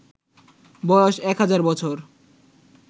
বয়স ১০০০ বছর